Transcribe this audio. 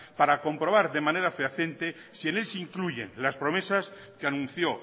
para comprobar de manera fehaciente si les incluyen las promesas que anunció